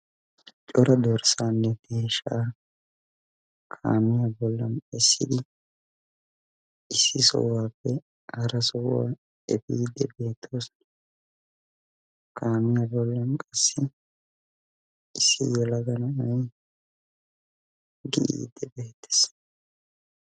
cora dorssanne deeshsha kaamiya bollan essidi issi sohuwappe hara sohuwaa efiide beettoosona. kaamiya bollan qassi issi yelaga na'ay giyide bettees.